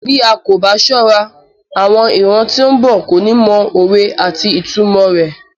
Bí a ko ba sọ́ra, àwọn ìran tí ó ń bọ̀ kò ní mọ òwe àti ìtumò rẹ.